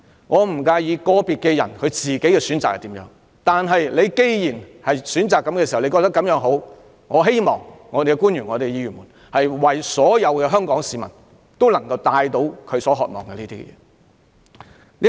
我不介意個別人士如何選擇，但既然官員選擇這種教育方式，我希望他們也為香港市民提供這種教育方式。